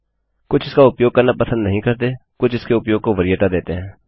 कुछ इसका उपयोग करना पसंद नहीं करते कुछ इसके उपयोग को वरीयता देते हैं